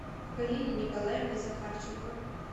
галине николаевне захарченко